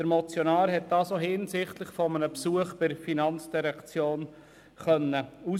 Das hat der Motionär bei einem Besuch bei der FIN ausfindig gemacht.